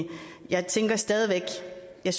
jeg